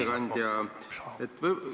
Ai, vabandust, Aivar Kokk!